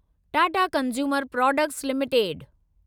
Tata consumer products limited